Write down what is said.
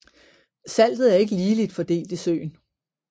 Saltet er ikke ligeligt fordelt i søen